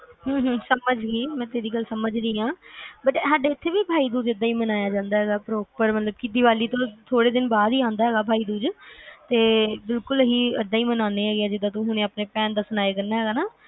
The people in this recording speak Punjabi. ਹਮ ਹਮ ਸਮਝ ਗਈ ਮੈਂ ਤੇਰੀ ਗੱਲ ਸਮਝ ਰਹੀ ਆ ਵੈਸੇ ਸਾਡੇ ਐਥੇ ਵੀ ਬਾਈ ਦੂਜ ਏਦਾ ਹੀ ਮਨਾਇਆ ਜਾਂਦਾ ਹੈਗਾ ਹੈ ਮਤਲਬ ਦੀਵਾਲੀ ਤੋਂ ਥੋੜੇ ਦਿਨ ਬਾਅਦ ਈ ਆਂਦਾ ਹੈਗਾ ਹੈ ਬਾਈਦੂਜ ਤੇ ਬਿਲਕੁਲ ਅਸੀਂ ਏਦਾ ਈ ਮਨਾਉਣੇ ਹੈਗਾ ਹੈ ਆ ਜਿਦਾ ਤੂੰ ਆਵਦੀ ਭੈਣ ਦਾ ਦੱਸਿਆ